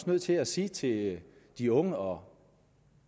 nødt til at sige til de unge og